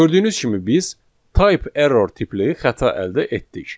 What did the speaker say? Gördüyünüz kimi biz type error tipli xəta əldə etdik.